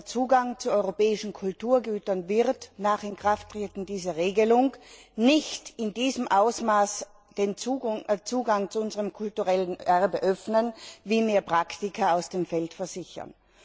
Der Zugang zu europäischen Kulturgütern wird nach Inkrafttreten dieser Regelung nicht in diesem Ausmaß den Zugang zu unserem kulturellen Erbe öffnen, wie mir Praktiker aus dem Feld versichern.